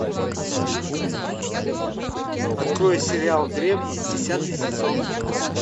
открой сериал древние десятый сезон